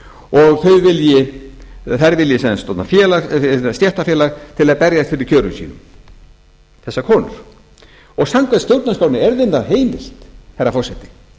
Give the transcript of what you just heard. og þær vilji stofna stéttarfélag til að berjast fyrir kjörum sínum þessar konur samkvæmt stjórnarskránni er þeim það heimilt herra forseti